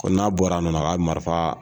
Ko n'a bɔra a nɔ na a ka marifa